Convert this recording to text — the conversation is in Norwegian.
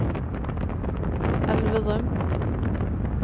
Elverum